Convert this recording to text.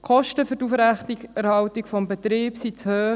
Die Kosten für die Aufrechterhaltung des Betriebs sind zu hoch.